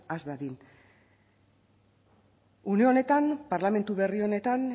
has dadin une honetan parlamentu berri honetan